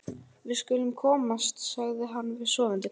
Við skulum komast, sagði hann við sofandi hvolpinn.